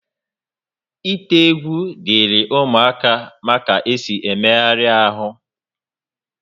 Ite egwu dịịrị ụmụaka mara ka esi emegharị ahụ ha